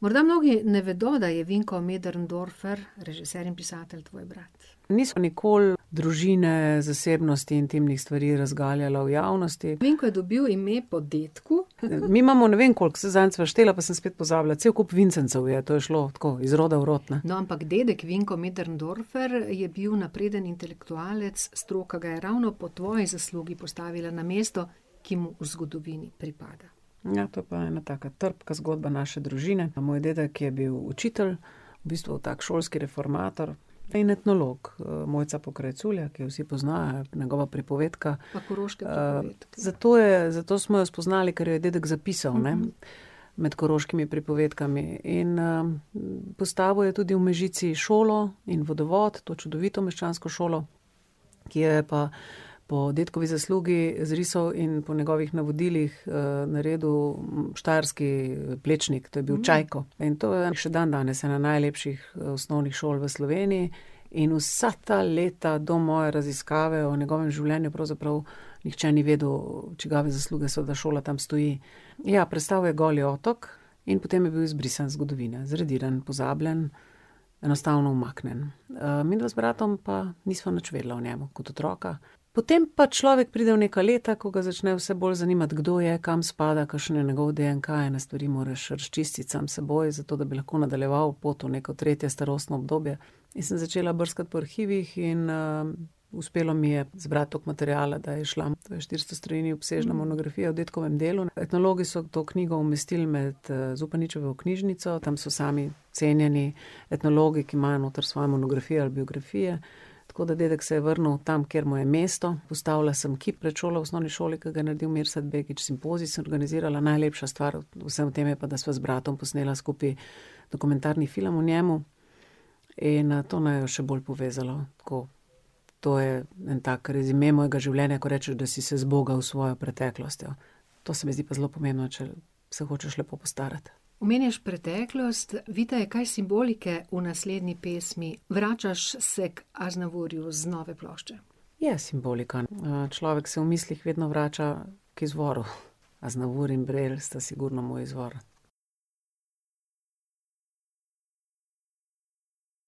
Morda mnogi ne vedo, da je Vinko Möderndorfer, režiser in pisatelj, tvoj brat. Nisva nikoli družine, zasebnosti, intimnih stvari razgaljala v javnosti. Vinko je dobil ime po dedku ... Mi imamo ne vem koliko, saj zadnjič sva štela, pa sem spet pozabila, cel kup Vincencov je, to je šlo, tako, iz roda v rod, ne. No, ampak dedek Vinko Möderndorfer je bil napreden intelektualec, stroka ga je ravno po tvoji zaslugi postavila na mesto, ki mu v zgodovini pripada. Ja, to je pa ena taka trpka zgodba naše družine, moj dedek je bil učitelj, v bistvu tak šolski reformator in etnolog. Mojca Pokrajculja, ki jo vsi poznajo, je njegova pripovedka. Pa Koroške prigode. ... Zato je, zato smo jo spoznali, ker jo je dedek zapisal, ne, med koroškimi pripovedkami, in, postavil je tudi v Mežici šolo in vodovod, to čudovito meščansko šolo, ki jo je pa po dedkovi zaslugi izrisal in po njegovih navodilih, naredil štajerski, Plečnik, to je bil Čajko. In to je še dandanes ena najlepših, osnovnih šol v Sloveniji. In vsa ta leta do moje raziskave o njegovem življenju pravzaprav nihče ni vedel, čigave zasluge so, da šola tam stoji. Ja, prestal je Goli otok in potem je bil izbrisan iz zgodovine. Zradiran, pozabljen, enostavno umaknjen. midva z bratom pa nisva nič vedela o njem kot otroka. Potem pač človek pride v neka leta, ko ga začne vse bolj zanimati, kdo je, kam spada, kakšen je njegov DNK, ene stvari moraš razčistiti sam s seboj, zato da bi lahko nadaljeval pot v neko tretje starostno obdobje. In sem začela brskati po arhivih in, uspelo mi je zbrati tako materiala, da je izšla, štiristo strani obsežna monografija o dedkovem delu, etnologi so to knjigo umestil med, Zupaničevo knjižnico, tam so sami cenjeni etnologi, ki imajo noter svoje monografije, biografije. Tako da dedek se je vrnil tam, kjer mu je mesto, postavila sem kip pred šolo v osnovni šoli, ki ga je naredil Mirsad Begić, simpozij sem organizirala, najlepša stvar v vsem tem je pa, da sva z bratom posnela skupaj dokumentarni film o njem. In, to naju je še bolj povezalo, tako. To je en tak rezime mojega življenja, ko rečeš, da si se zbogal s svojo preteklostjo. To se mi zdi pa zelo pomembno, če se hočeš lepo postarati. Omenjaš preteklost, Vita, je kaj simbolike v naslednji pesmi? Vračaš se ker Aznavourju z nove plošče. Je simbolika. človek se v mislih vedno vrača k izvoru. Aznavour in Brel sta sigurno moj izvor.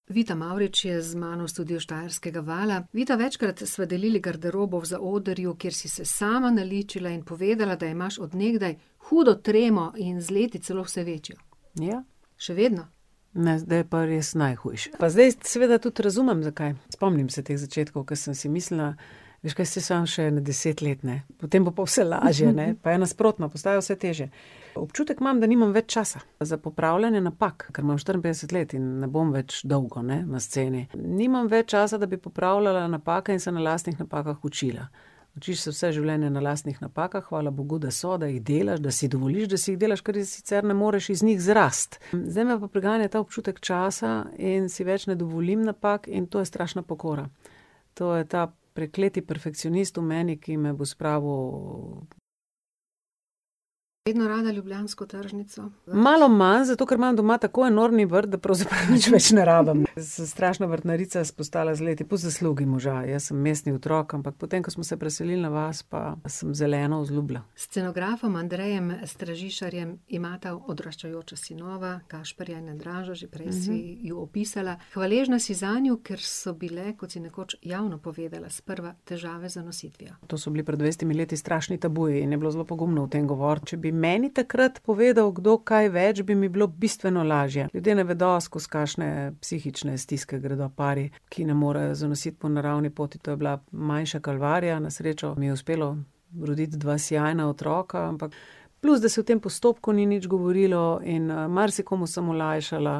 Vita Mavrič je z mano v studiu Vala štajerskega. Vita, večkrat sva delili garderobo v zaodrju, kjer si se sama naličila in povedala, da imaš od nekdaj hudo tremo in z leti celo vse večjo. Ja. Še vedno? Ne, zdaj je pa res najhujše. Pa zdaj seveda tudi razumem, zakaj. Spomnim se teh začetkov, ker sem si mislila, veš kaj, saj samo še ene deset let, ne. Potem bo pa vse lažje, ne, pa je nasprotno, postaja vse težje. Občutek imam, da nimam več časa. Za popravljanje napak, ker imam štiriinpetdeset let in ne bom več dolgo, ne, na sceni. Nimam več časa, da bi popravljala napake in se na lastnih napakah učila. Čisto vse življenje na lastnih napakah, hvala bogu, da so, da jih delaš, da si dovoliš, da si jih delaš, ker je sicer ne moreš iz njih zrasti. zdaj me pa preganja ta občutek časa in si več ne dovolim napak in to je strašna pokora. To je ta prekleti perfekcionist v meni, ki me bo spravil ... Vedno rada ljubljansko tržnico. Malo manj, zato ker imam doma tako enormni vrt, da pravzaprav nič več ne rabim, ne. Sem strašna vrtnarica postala z leti, po zaslugi moža, jaz sem mestni otrok, ampak potem ko smo se preselil na vas, pa sem zeleno vzljubila. S scenografom Andrejem Stražišarjem imata odraščajoča sinova, Gašperja in Andraža, že prej si ju opisala. Hvaležna si zanju, ker so bile, kot si nekoč javno povedala, sprva težave z zanositvijo. To so bili pred dvajsetimi leti strašno tabuji in je bilo zelo pogumno o tem govoriti. Če bi meni takrat povedal kdo kaj več, bi mi bilo bistveno lažje. Ljudje ne vedo, skozi kakšne psihične stiske gredo pari, ki ne morejo zanositi po naravni poti, to je bila manjša kalvarija, na srečo mi je uspelo roditi dva sijajna otroka, ampak plus, da se o tem postopku ni nič govorilo, in, marsikomu sem olajšala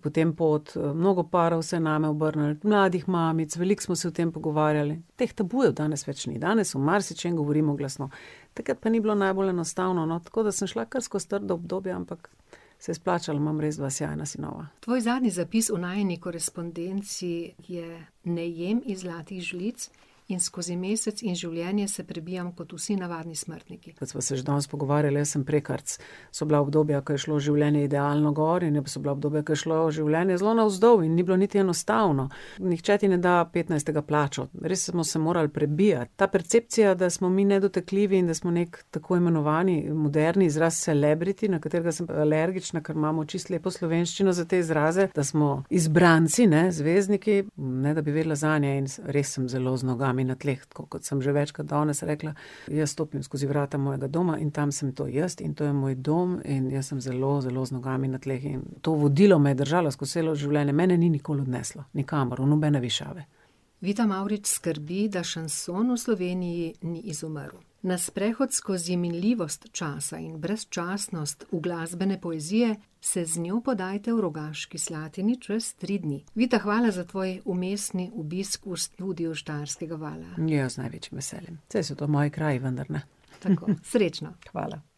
potem pot, mnogo parov se je name obrnilo, mladih mamic, veliko smo se o tem pogovarjale, teh tabujev danes več ni, danes o marsičem govorimo glasno. Takrat pa ni bilo najbolj enostavno, no, tako da sem šla kar skozi trda obdobja, ampak se je splačalo, imam res dva sijajna sinova. Tvoj zadnji zapis v najini korespondenci je: "Ne jem iz zlatih žlic in skozi mesec in življenje se prebijam kot vsi navadni smrtniki." Kot sva se še danes pogovarjali, jaz sem prekarec. So bila obdobja, ko je šlo življenje idealno gor, in so bila obdobja, ko je šlo življenje zelo navzdol in ni bilo niti enostavno. Nihče ti ne da petnajstega plače. Res smo se morali prebijati, ta percepcija, da smo mi nedotakljivi in da smo nekaj tako imenovani moderni izraz celebrity, na katerega sem pa alergična, ker imamo čisto lepo slovenščino za te izraze, izbranci, ne, zvezdniki, ne da bi vedela zanje in res sem zelo z nogami na tleh, tako kot sem že večkrat danes rekla, jaz stopim skozi vrata mojega doma in tam sem to jaz in to je moj dom in jaz sem zelo, zelo z nogami na tleh in to vodilo me je držalo skozi celo življenje, mene ni nikoli odneslo. Nikamor, v nobene višave. Vita Mavrič skrbi, da šanson v Sloveniji ni izumrl. Na sprehod skozi minljivost časa in brezčasnost uglasbene poezije se z njo podajte v Rogaški Slatini čez tri dni. Vita, hvala za tvoj vmesni obisk v studiu Vala štajerskega. Ja, z največjim veseljem. Saj so to moji kraji, vendar, ne. Srečno! Hvala.